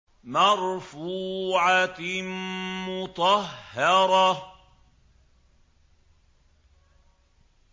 مَّرْفُوعَةٍ مُّطَهَّرَةٍ